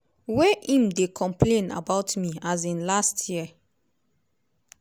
wey im dey complain about me um last year."